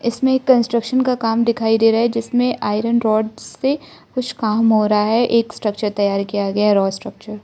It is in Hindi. इसमें कंस्ट्रक्शन का काम दिखाई दे रहा है जिसमें आयरन रॉड से कुछ काम हो रहा है एक स्ट्रक्चर तैयार किया गया रॉ स्ट्रक्चर ।